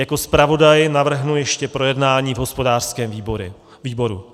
Jako zpravodaj navrhnu ještě projednání v hospodářském výboru.